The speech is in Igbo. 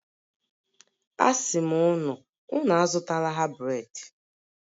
asim unu, Unu azutala ha bred.